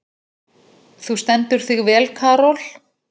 Þú stendur þig vel, Karol!